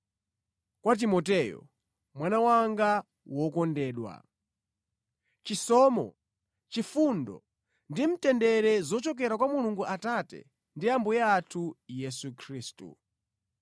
Kwa Timoteyo, mwana wanga wokondedwa: Chisomo, chifundo ndi mtendere zochokera kwa Mulungu Atate ndi Ambuye athu Yesu Khristu.